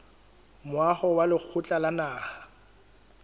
moaho wa lekgotla la naha